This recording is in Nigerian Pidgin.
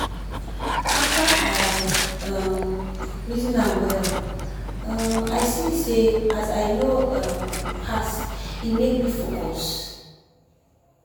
after i um reason am well um i see say as i no um pass e make me focus.